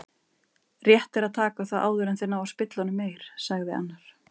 Rétt er að taka þá áður en þeir ná að spilla honum meir, sagði annar.